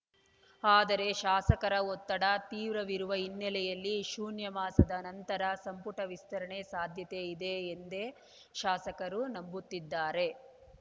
ಆದರೆ ಶಾಸಕರ ಒತ್ತಡ ತೀವ್ರವಿರುವ ಹಿನ್ನೆಲೆಯಲ್ಲಿ ಶೂನ್ಯ ಮಾಸದ ನಂತರ ಸಂಪುಟ ವಿಸ್ತರಣೆ ಸಾಧ್ಯತೆಯಿದೆ ಎಂದೇ ಶಾಸಕರು ನಂಬುತ್ತಿದ್ದಾರೆ